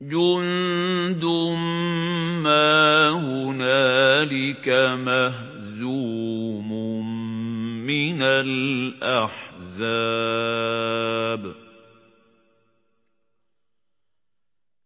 جُندٌ مَّا هُنَالِكَ مَهْزُومٌ مِّنَ الْأَحْزَابِ